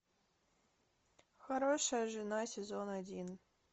хорошая жена сезон один